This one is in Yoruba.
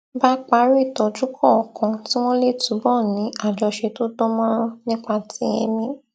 bá parí ìtójú kọọkan kí wón lè túbò ní àjọṣe tó dán mórán nípa ti èmí